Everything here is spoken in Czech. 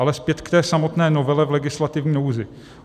Ale zpět k té samotné novele v legislativní nouzi.